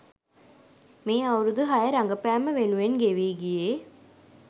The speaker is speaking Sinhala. මේ අවුරුදු හය රඟපෑම වෙනුවෙන් ගෙවී ගියේ.